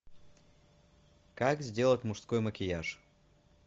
как сделать мужской макияж